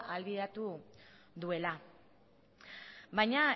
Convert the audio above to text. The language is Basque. ahalbideratu duela baina